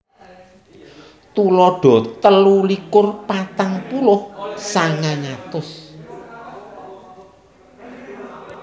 Tuladha telu likur patang puluh sangang atus